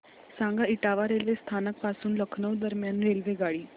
सांगा इटावा रेल्वे स्थानक पासून लखनौ दरम्यान रेल्वेगाडी